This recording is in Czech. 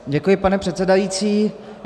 Děkuji, pane předsedající.